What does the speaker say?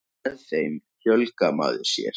Með þeim fjölgar maður sér.